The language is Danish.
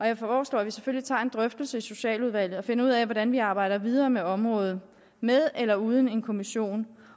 jeg foreslår at vi selvfølgelig tager en drøftelse i socialudvalget og finder ud af hvordan vi arbejder videre med området med eller uden en kommission